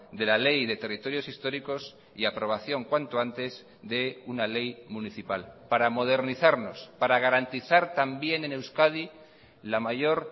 de la ley de territorios históricos y aprobación cuanto antes de una ley municipal para modernizarnos para garantizar también en euskadi la mayor